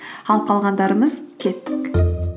ал қалғандарымыз кеттік